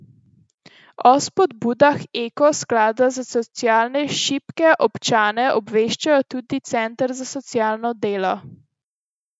O spodbudah Eko sklada za socialno šibke občane obveščajo tudi Centre za socialno delo.